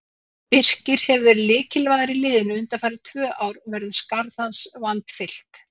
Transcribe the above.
Birkir hefur verið lykilmaður í liðinu undanfarin tvö ár og verður skarð hans vandfyllt.